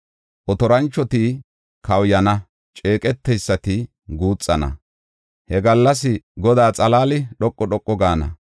Otoranchoti kawuyana; ceeqeteysati guuxana; he gallas Godaa xalaali dhoqu dhoqu gaana.